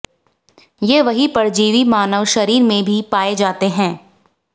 ये वही परजीवी मानव शरीर में भी पाए जाते हैं